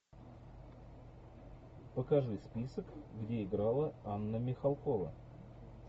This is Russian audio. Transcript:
покажи список где играла анна михалкова